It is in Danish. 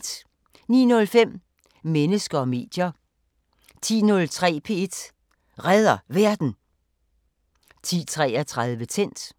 09:05: Mennesker og medier 10:03: P1 Redder Verden 10:33: Tændt